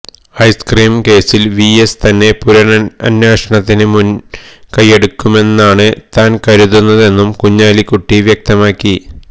ice cream കേസില് V S തന്നെ പുനരന്വേഷണത്തിന് മുന് കൈയെടുക്കുമെന്നാണ് താന് കരുതുന്നതെന്നും കുഞ്ഞാലിക്കുട്ടി വ്യക്തമാക്കി